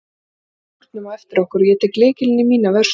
Nú læsum við skúrnum á eftir okkur og ég tek lykilinn í mína vörslu.